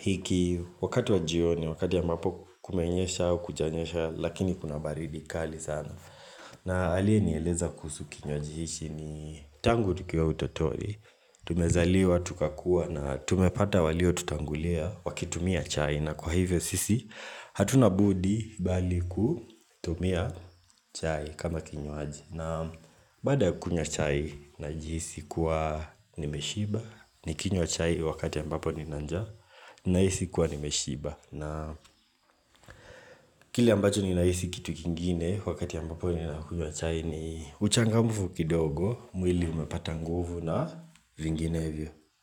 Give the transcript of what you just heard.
hiki wakati wa jioni wakati ya ambapo kumenyesha au kujanyesha lakini kuna baridi kali sana na alie nieleza kusu kinywaji hichi ni tangu tukiwa utotoni Tumezaliwa tukakua na tumepata walio tutangulia wakitumia chai na kwa hivyo sisi hatuna budi bali kutumia chai kama kinywaji na baada kunywa chai najihisi kuwa nimeshiba nikinywa chai wakati ambapo nina njaa nahisi kuwa nimeshiba na kili ambacho ninahisi kitu kingine wakati ambapo ninakunywa chai ni uchangamufu kidogo mwili umepata nguvu na vinginevyo.